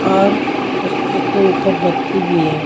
और उसपे के ऊपर बत्ती भी है।